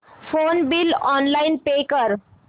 phone bill online pay कर